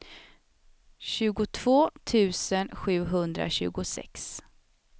tjugotvå tusen sjuhundratjugosex